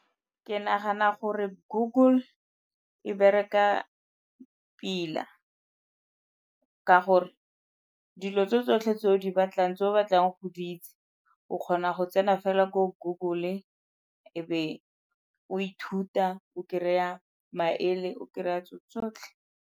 Ke nagana gore Google e bereka pila ka gore dilo tse tsotlhe tse o di batlang tse o batlang go di itse, o kgona go tsena fela ko Google e be o ithuta o kry-a maele o kry-a tse tsotlhe.